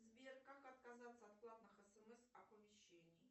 сбер как отказаться от платных смс оповещений